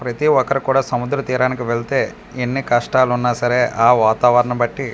ప్రతి ఒక్కరూ కూడా సముద్ర తీరానికి వెళ్తే ఎన్ని కష్టాలున్నా సరే ఆ వాతావరణం బట్టి.